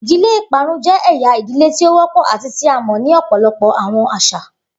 Idile iparun jẹ ẹya idile ti o wọpọ ati ti a mọ ni ọpọlọpọ awọn aṣa.